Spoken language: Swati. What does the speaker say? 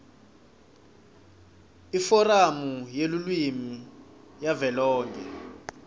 iforamu yelulwimi yavelonkhe